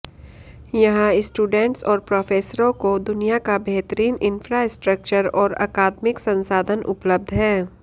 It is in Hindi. यहां स्टूडेंट्स और प्रोफेसरों को दुनिया का बेहतरीन इन्फ्रास्ट्रक्चर और अकादमिक संसाधन उपलब्ध है